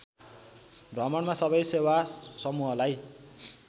भ्रमणमा सवै सेवा समुहलाई